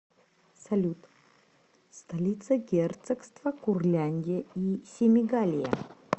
салют столица герцогство курляндия и семигалия